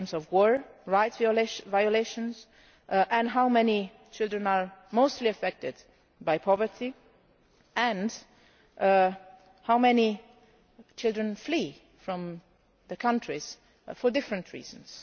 war and rights violations, how many children are mostly affected by poverty, and how many children flee from their countries for different reasons.